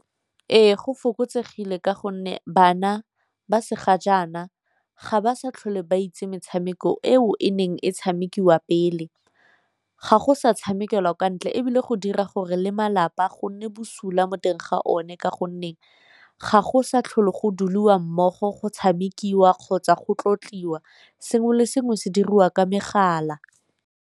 Ee go fokotsegile ka gonne bana ba se ga jaana ga ba sa tlhole ba itse metshameko eo e neng e tshamekiwa pele, ga go sa tshamekelwa kwa ntle ebile go dira gore le malapa go nne bosula mo teng ga one ka gonne ga go sa tlhole go duliwa mmogo, go tshamekiwa kgotsa go tlotliwa, sengwe le sengwe se diriwa ka megala.